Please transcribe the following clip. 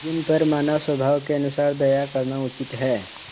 जिन पर मानवस्वभाव के अनुसार दया करना उचित है